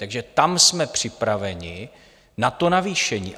Takže tam jsme připraveni na to navýšení.